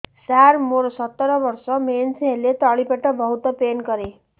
ସାର ମୋର ସତର ବର୍ଷ ମେନ୍ସେସ ହେଲେ ତଳି ପେଟ ବହୁତ ପେନ୍ କରେ